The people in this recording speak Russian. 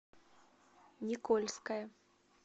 никольское